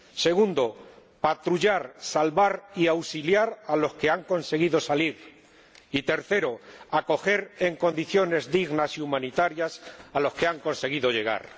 segundo, patrullar, salvar y auxiliar a los que han conseguido salir y tercero, acoger en condiciones dignas y humanitarias a los que han conseguido llegar.